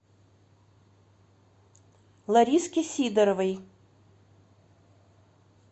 лариске сидоровой